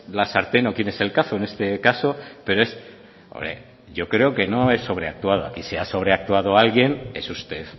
la sartén o quién es el cazo en este caso pero yo creo que no he sobreactuado aquí si ha sobreactuado alguien es usted